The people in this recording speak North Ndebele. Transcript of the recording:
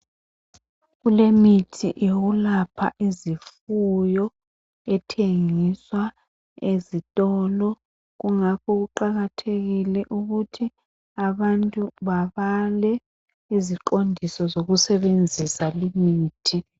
Kulemithi yokulapha izifuyo ethengiswa ezitolo kungakho kuqakathekile ukuthi abantu babale iziqondiso zokusebenzisa limithi.